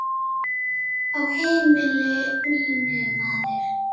Á heimili mínu, maður.